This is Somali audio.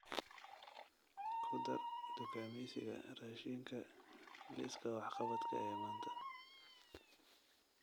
ku dar dukaamaysiga raashinka liiska wax-qabadka ee maanta